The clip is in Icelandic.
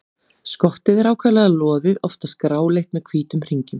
Skottið er ákaflega loðið, oftast gráleitt með hvítum hringjum.